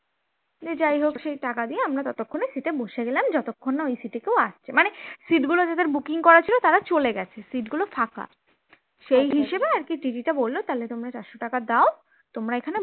সে যাই হোক সেই টাকা দিয়ে আমরা ততক্ষণে seat এ বসে গেলাম যতক্ষণ না ঐ seat এ কেউ আসছে মানে seat গুলো যাদের booking করা ছিল তারা চলে গেছে seat গুলো ফাঁকা, সেই হিসেবে আর কি TT টা বলল তোমরা চারশ টাকা দাও তোমরা এখানে